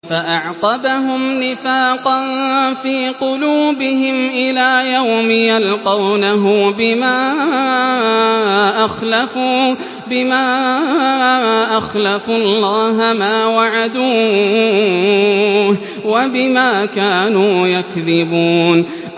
فَأَعْقَبَهُمْ نِفَاقًا فِي قُلُوبِهِمْ إِلَىٰ يَوْمِ يَلْقَوْنَهُ بِمَا أَخْلَفُوا اللَّهَ مَا وَعَدُوهُ وَبِمَا كَانُوا يَكْذِبُونَ